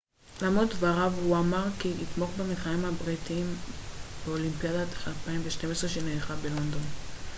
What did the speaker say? למרות דבריו הוא אמר כי יתמוך במתחרים הבריטים באולימפיאדת 2012 שנערכת בלונדון